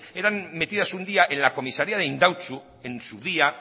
eran metidas un día en la comisaría de indautxu en su día